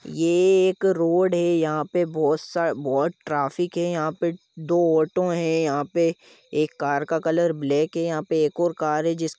यह एक रोड है यहा पर बहुत सार बहुत ट्राफिक है यहा पर दो ओटो है यहा पर एक कार का कलर ब्लाक है यहा पर और एक कार है जिस --